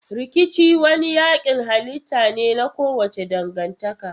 Rikici wani yankin halitta ne na kowace dangantaka.